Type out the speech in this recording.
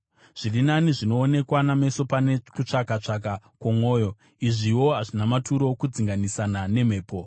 Zviri nani zvinoonekwa nameso pane kutsvaka-tsvaka kwomwoyo. Izviwo hazvina maturo, kudzinganisana nemhepo.